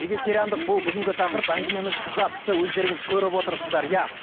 вегетариандық бұл бүгінгі тақырып әңгімеміз қыза түсті өздеріңіз көп отырсыздар иә